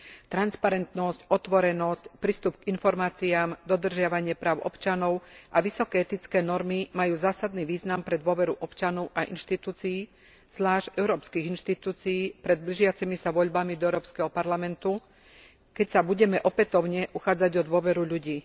Transparentnosť, otvorenosť, prístup k informáciám, dodržiavanie práv občanov a vysoké etické normy majú zásadný význam pre dôveru občanov a inštitúcií, zvlášť európskych inštitúcií pred blížiacimi sa voľbami do Európskeho parlamentu, keď sa budeme opätovne uchádzať o dôveru ľudí.